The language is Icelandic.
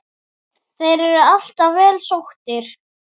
Þeir eru alltaf vel sóttir.